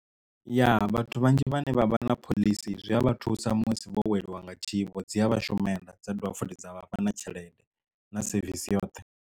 Ya vhathu vhanzhi vhane vha vha na phoḽisi zwi a vha thusa musi vho weliwa nga tshiwo dzi a vhashumela dza dovha futhi dza vhafha na tshelede na sevisi yoṱhe.